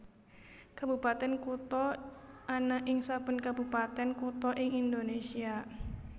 Kabupatèn Kutha ana ing saben kabupatèn kutha ing Indonésia